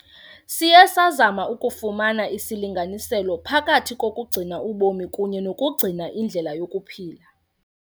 Siye sazama ukufumana isilinganiselo phakathi kokugcina ubomi kunye nokugcina indlela yokuphila.